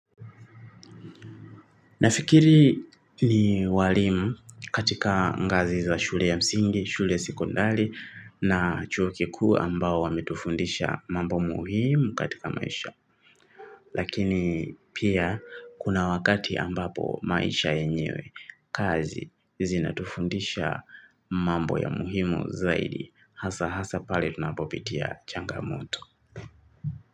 Nafikiri ni walimu katika ngazi za shule ya msingi, shule sikondali na chuo kikuu ambao wametufundisha mambo muhimu katika maisha. Lakini pia kuna wakati ambapo maisha yenyewe kazi zinatufundisha mambo ya muhimu zaidi. Hasa hasa pale tunapopitia changamoto.